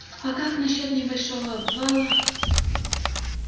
а как насчёт небольшого обвала